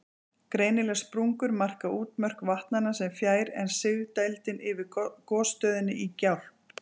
Greinilegar sprungur marka útmörk vatnanna, en fjær er sigdældin yfir gosstöðinni í Gjálp.